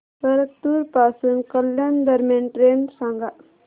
परतूर पासून कल्याण दरम्यान ट्रेन सांगा